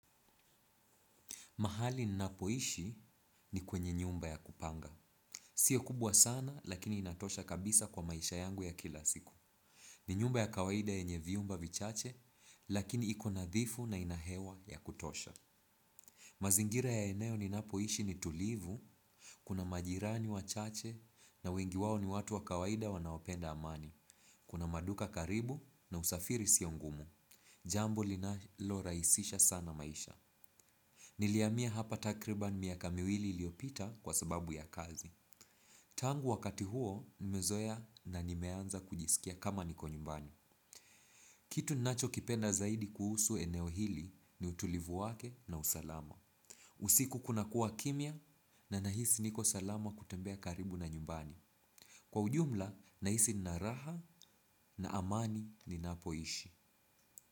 Mahali ninapoishi ni kwenye nyumba ya kupanga. Sio kubwa sana, lakini inatosha kabisa kwa maisha yangu ya kila siku. Ni nyumba ya kawaida yenye vyumba vichache, lakini iko nadhifu na ina hewa ya kutosha. Mazingira ya eneo ninapoishi ni tulivu, kuna majirani wachache, na wengi wao ni watu wa kawaida wanaopenda amani. Kuna maduka karibu na usafiri sio ngumu. Jambo linalorahisisha sana maisha. Nilihamia hapa takribani miaka miwili iliyopita kwa sababu ya kazi. Tangu wakati huo nimezoea na nimeanza kujisikia kama niko nyumbani. Kitu nachokipenda zaidi kuhusu eneo hili ni utulivu wake na usalama. Usiku kunakuwa kimya na nahisi niko salama kutembea karibu na nyumbani. Kwa ujumla nahisi nina raha na amani ninapoishi.